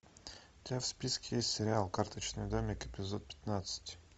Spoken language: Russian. у тебя в списке есть сериал карточный домик эпизод пятнадцать